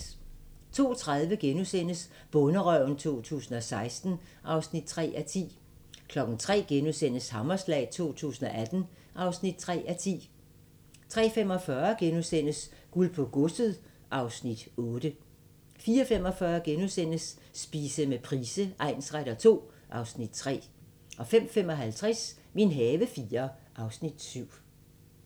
02:30: Bonderøven 2016 (3:10)* 03:00: Hammerslag 2018 (3:10)* 03:45: Guld på godset (Afs. 8)* 04:45: Spise med Price egnsretter II (Afs. 3)* 05:55: Min have IV (Afs. 7)